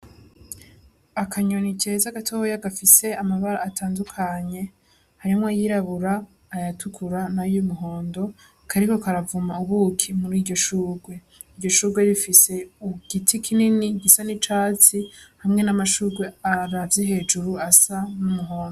Akanyoni keza gatoya gafise amabara atandukanye, harimwo ayirabura ayatukura n'ayumuhondo kariko karavoma ubuki muri iryo shugwe. Iryo shugwe rifise igiti kinini gisa n'icatsi hamwe n'amashugwe aravye hejuru asa n'umuhondo.